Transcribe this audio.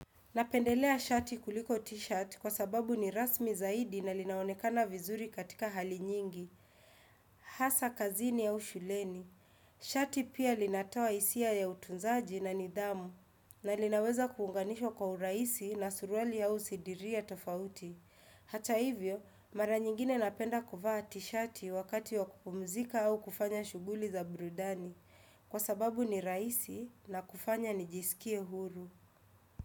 Napendelea shati kuliko t-shirt kwa sababu ni rasmi zaidi na linaonekana vizuri katika hali nyingi, hasa kazini au shuleni. Shati pia linatoa hisia ya utunzaji na nidhamu na linaweza kuunganishwa kwa urahisi na suruali au sidiria tofauti. Hata hivyo, mara nyingine napenda kuvaa t-shati wakati wa kupumzika au kufanya shughuli za burudani kwa sababu ni rahisi na kufanya nijisikie huru.